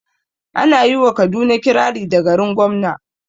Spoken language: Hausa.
Ana yi wa kaduna kirari da "garin gwamna"